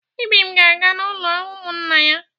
Ibim ga-aga n'ụlọ ụmụnna ya.